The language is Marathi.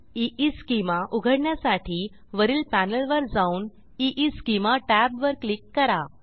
EEschemaउघडण्यासाठी वरील पॅनेलवर जाऊन ईस्केमा टॅबवर क्लिक करा